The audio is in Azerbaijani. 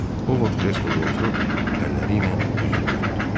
O Vod kresloda oturub əlləri ilə üzünü örtdü.